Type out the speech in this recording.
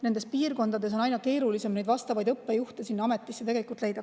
Nendes piirkondades on aina keerulisem õppejuhte ametisse leida.